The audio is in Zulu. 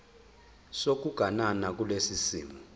sokuganana kulesi simo